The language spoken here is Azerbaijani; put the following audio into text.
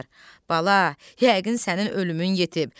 Bala, yəqin sənin ölümün yetib.